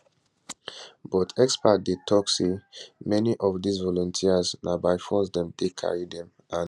but experts dey tok say many of dis volunteers na by force dem take carry dem and